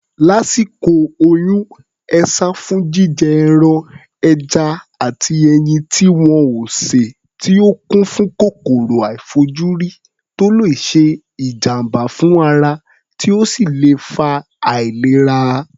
Lásìkò oyún, e sá fún jíjẹ ẹran, ẹja àti ẹyin tí wọn ò sè tí ó kún fún kòkòrò àìfojúrí tó le ṣe ìjàm̀bá fún ara, tí ó sì lè fa àìlera.